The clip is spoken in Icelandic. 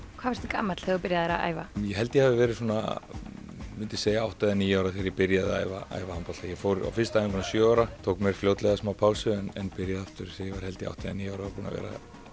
gamall þegar þú byrjaðir að æfa ég held að ég hafi verið svona átta eða níu ára þegar ég byrjaði að æfa æfa handbolta ég fór á fyrstu æfinguna sjö ára tók mér fljótlega smá pásu en byrjaði aftur þegar ég var átta eða níu ára og er búinn að vera